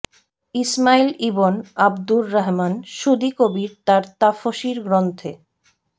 Ismail ibn Abdur Rahman Suddi Kabir তার তাফসীর গ্রন্থে